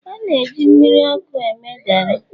a na-eji mmiri ọkụ eme gari